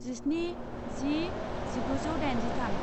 जिस्नि जि जिगुजौ दाइनजिथाम